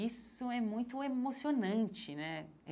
Isso é muito emocionante né.